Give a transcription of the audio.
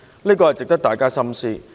這是值得大家深思的。